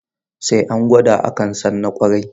Sai an gwada, a kan san na ƙwarai.